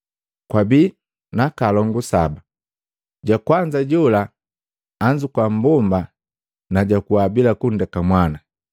Kwabii naaka alongu saba. Jakwanza jola anzukua mmbomba na jakuwa bila kundeka mwana.